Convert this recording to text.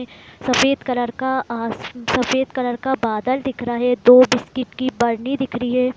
सफ़ेद कलर का अस सफ़ेद कलर का बादल दिख रहे है दो बिस्किट की बर्नी दिख रही है।